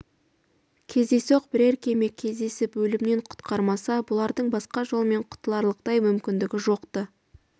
кездейсоқ бірер кеме кездесіп өлімнен құтқармаса бұлардың басқа жолмен құтыларлықтай мүмкіндігі жоқ-ты